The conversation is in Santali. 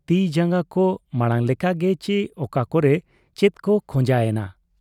ᱛᱤ ᱡᱟᱝᱜᱟ ᱠᱚ ᱢᱟᱬᱟᱝ ᱞᱮᱠᱟ ᱜᱮ ᱪᱤ ᱚᱠᱟ ᱠᱚᱨᱮ ᱪᱮᱫ ᱠᱚ ᱠᱷᱚᱸᱡᱟ ᱮᱱᱟ ?